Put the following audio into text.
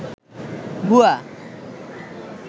ভূয়া